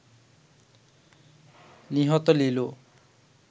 নিহত লিলু